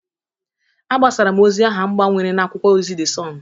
Agbasara m ozi aha m gbawere n'akwụkwọ ozi De Sọn.